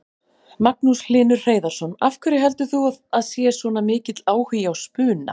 Magnús Hlynur Hreiðarsson: Af hverju heldur þú að sé svona mikill áhugi á spuna?